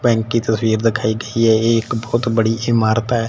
हो रही है दिखाई गई है एक बहुत बड़ी इमारत है।